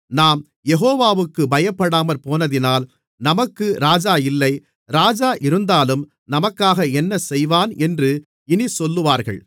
நாம் யெகோவாவுக்குப் பயப்படாமற்போனதினால் நமக்கு ராஜா இல்லை ராஜா இருந்தாலும் நமக்காக என்ன செய்வான் என்று இனிச் சொல்லுவார்கள்